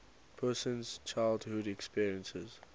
person's childhood experiences